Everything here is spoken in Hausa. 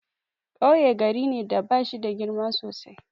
Kauye gari ne da bashida girma sosai.